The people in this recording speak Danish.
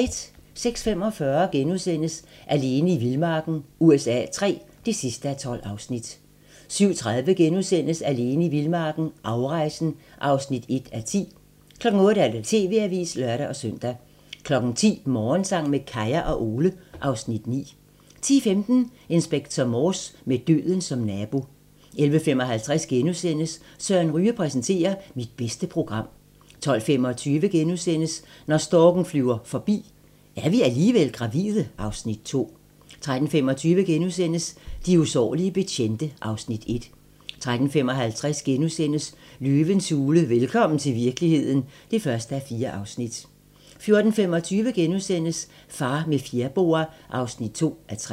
06:45: Alene i vildmarken USA III (12:12)* 07:30: Alene i vildmarken - afrejsen (1:10)* 08:00: TV-avisen (lør-søn) 10:00: Morgensang med Kaya og Ole (Afs. 9) 10:15: Inspector Morse: Med døden som nabo 11:55: Søren Ryge præsenterer - Mit bedste program * 12:25: Når storken flyver forbi - Er vi alligevel gravide? (Afs. 2)* 13:25: De usårlige betjente (Afs. 1)* 13:55: Løvens hule - velkommen til virkeligheden (1:4)* 14:25: Far med fjerboa (2:3)*